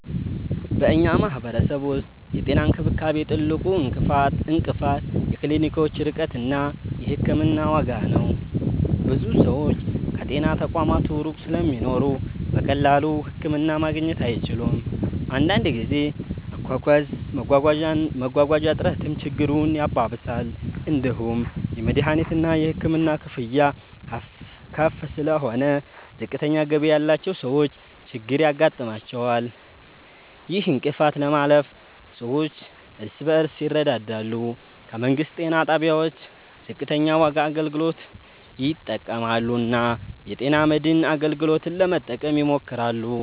በእኛ ማህበረሰብ ውስጥ የጤና እንክብካቤ ትልቁ እንቅፋት የክሊኒኮች ርቀት እና የሕክምና ዋጋ ነው። ብዙ ሰዎች ከጤና ተቋማት ሩቅ ስለሚኖሩ በቀላሉ ህክምና ማግኘት አይችሉም። አንዳንድ ጊዜ መጓጓዣ እጥረትም ችግሩን ያባብሳል። እንዲሁም የመድሀኒትና የሕክምና ክፍያ ከፍ ስለሆነ ዝቅተኛ ገቢ ያላቸው ሰዎች ችግር ያጋጥማቸዋል። ይህን እንቅፋት ለማለፍ ሰዎች እርስ በርስ ይረዳዳሉ፣ ከመንግስት ጤና ጣቢያዎች ዝቅተኛ ዋጋ አገልግሎት ይጠቀማሉ እና የጤና መድን አገልግሎትን ለመጠቀም ይሞክራሉ።